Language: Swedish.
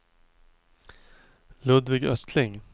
Ludvig Östling